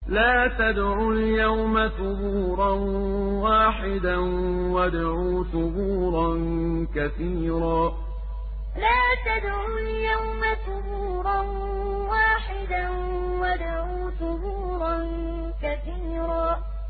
لَّا تَدْعُوا الْيَوْمَ ثُبُورًا وَاحِدًا وَادْعُوا ثُبُورًا كَثِيرًا لَّا تَدْعُوا الْيَوْمَ ثُبُورًا وَاحِدًا وَادْعُوا ثُبُورًا كَثِيرًا